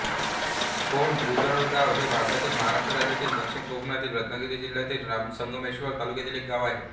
कोंड भुजबळराव हे भारतातील महाराष्ट्र राज्यातील दक्षिण कोकणातील रत्नागिरी जिल्ह्यातील संगमेश्वर तालुक्यातील एक गाव आहे